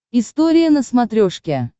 история на смотрешке